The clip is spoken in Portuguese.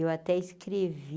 Eu até escrevi.